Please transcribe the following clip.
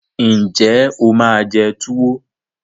Ǹjẹ́ o máa jẹ túwo